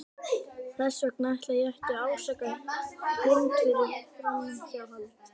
Þess vegna ætla ég ekki að ásaka Hind fyrir framhjáhald.